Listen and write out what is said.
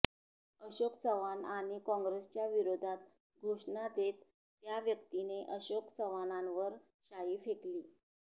अशोक चव्हाण आणि काँग्रेसच्या विरोधात घोषणा देत त्या व्यक्तीने अशोक चव्हाणांवर शाई फेकली